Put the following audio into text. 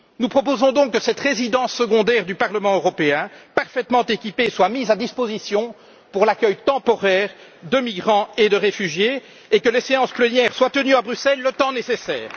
Nous proposons donc que cette résidence secondaire du Parlement européen, parfaitement équipée, serve à l'accueil temporaire de migrants et de réfugiés et que les séances plénières se tiennent à Bruxelles le temps nécessaire.